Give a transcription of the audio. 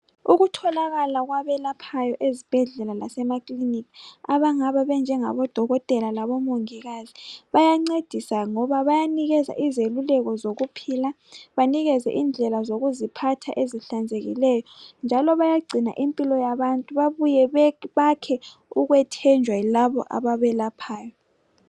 Ukutholakala kwabelaphayo ezibhedlela lasemakilinika abangabe benjengabodokotela labomongikazi bayancedisa ngoba bayanikeza izeluleko zokuphila banikeze indlela zokuziphatha ezihlanzekileyo njalo bayagcina impilo yabantu babuye bakhe ukwethenjwa kulabo ababelaphayo.